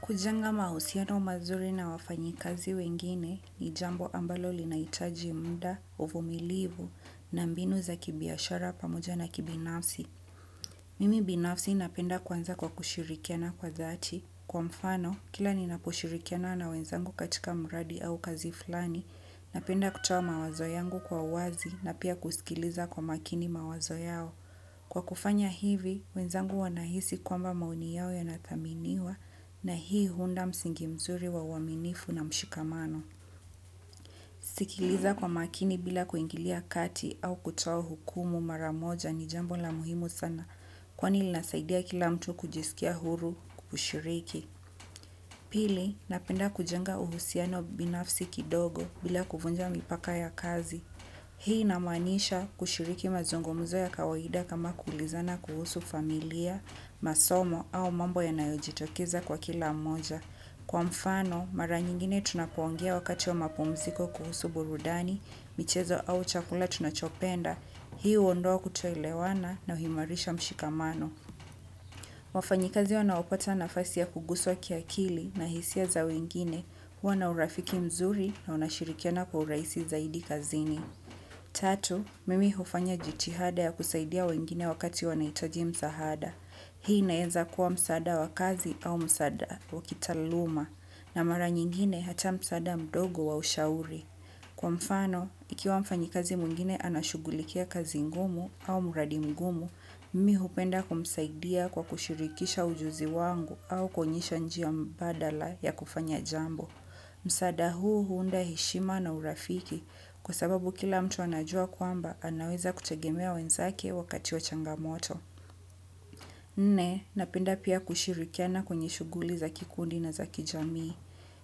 Kujenga mahusiano mazuri na wafanyikazi wengine ni jambo ambalo linahitaji muda, uvumilivu, na mbinu za kibiashara pamoja na kibinafsi. Mimi binafsi napenda kuanza kwa kushirikiana kwa dhati kwa mfano kila ninaposhirikiana na wenzangu katika mradi au kazi fulani napenda kutoa mawazo yangu kwa uwazi na pia kusikiliza kwa umakini mawazo yao. Kwa kufanya hivi, wenzangu wanahisi kwamba maoni yao yanathaminiwa na hii huunda msingi mzuri wa uaminifu na mshikamano. Sikiliza kwa makini bila kuingilia kati au kutoa hukumu maramoja ni jambo la muhimu sana kwani linasaidia kila mtu kujisikia huru kushiriki. Pili, napenda kujenga uhusiano binafsi kidogo bila kuvunja mipaka ya kazi. Hii inamaanisha kushiriki mazungumuzo ya kawaida kama kuulizana kuhusu familia, masomo au mambo yanayojitokeza kwa kila mmoja. Kwa mfano, mara nyingine tunapoongea wakati wa mapumziko kuhusu burudani, michezo au chakula tunachopenda. Hii huondoa kutoelewana na huimarisha mshikamano. Wafanyikazi wanaopata nafasi ya kuguswa kiakili na hisia za wengine huwa na urafiki mzuri na wanashirikiana kwa urahisi zaidi kazini. Tatu, mimi hufanya jithihada ya kusaidia wengine wakati wanahitaji msaada. Hii inaenza kuwa msaada wa kazi au msaada wa kitaaluma na mara nyingine hata msaada mdogo wa ushauri. Kwa mfano, ikiwa mfanyikazi mwingine anashugulikia kazi ngumu au mradi mgumu, mimi hupenda kumsaidia kwa kushirikisha ujuzi wangu au kuonyesha njia mbadala ya kufanya jambo. Msaada huu huunda heshima na urafiki kwa sababu kila mtu anajua kwamba anaweza kutegemea wenzake wakati wa changamoto. Nne, napenda pia kushirikiana kwenye shuguli za kikundi na za kijami.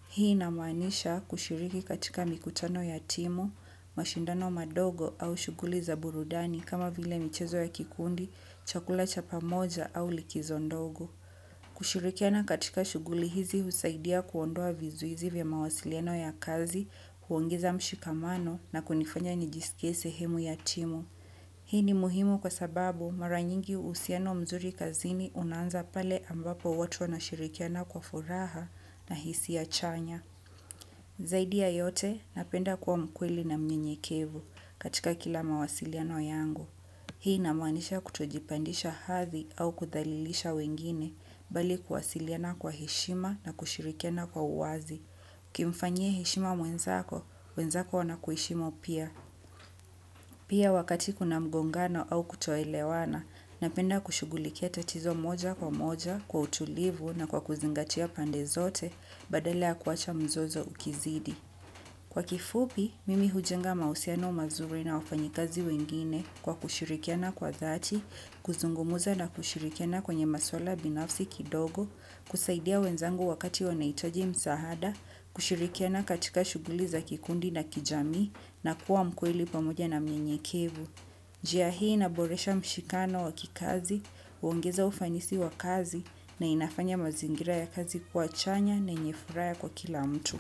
Hii inamaanisha kushiriki katika mikutano ya timu, mashindano madogo au shuguli za burudani kama vile michezo ya kikundi, chakula cha pamoja au likizo ndogo. Kushirikiana katika shuguli hizi husaidia kuondoa vizuizi vya mawasiliano ya kazi, huongeza mshikamano na kunifanya nijiskie shemu ya timu. Hii ni muhimu kwa sababu mara nyingi uhusiano mzuri kazini unanza pale ambapo watu wanashirikiana kwa furaha na hisia chanya. Zaidi ya yote napenda kuwa mkweli na mnyenyekevu katika kila mawasiliano yangu. Hii inamaanisha kutojipandisha hadhi au kudhalilisha wengine bali kuwasiliana kwa heshima na kushirikiana kwa uwazi. Ukimfanyia heshima mwenzako, mwenzako anakuheshimu pia. Pia wakati kuna mgongano au kutoelewana, napenda kushugulikia tatizo moja kwa moja kwa utulivu na kwa kuzingatia pande zote badala ya kuwacha mzozo ukizidi. Kwa kifupi, mimi hujenga mahusiano mazuri na wafanyikazi wengine kwa kushirikiana kwa dhati, kuzungumuza na kushirikiana kwenye maswala binafsi kidogo, kusaidia wenzangu wakati wanahitaji msaada, kushirikiana katika shuguli za kikundi na kijami na kuwa mkweli pamoja na mnyenyekevu. Njia hii inaboresha mshikano wa kikazi, huongeza ufanisi wa kazi na inafanya mazingira ya kazi kuwa chanya na yenye furaha kwa kila mtu.